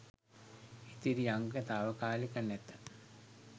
ඉතිරි අංග තාවකාලික නැත